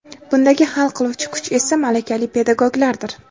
Bundagi hal qiluvchi kuch esa - malakali pedagoglardir.